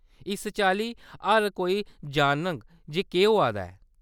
इस चाल्ली हर कोई जानग जे केह्‌‌ होआ दा ऐ।